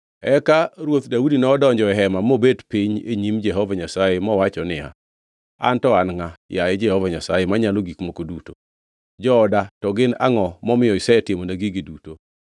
Eka ruoth Daudi nodonjo e hema mobet piny e nyim Jehova Nyasaye mowacho niya, “An to an ngʼa? Yaye Jehova Nyasaye Manyalo Gik Moko Duto, jooda to gin angʼo, momiyo isetimona gigi duto?